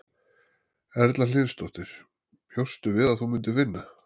Erla Hlynsdóttir: Bjóstu við að þú myndir vinna?